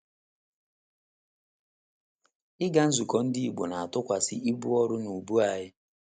Ịga nzukọ Ndị Igbo na - atụkwasịkwa ibu ọrụ n’ubu anyị.